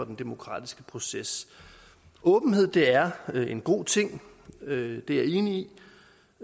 den demokratiske proces åbenhed er en god ting det er jeg enig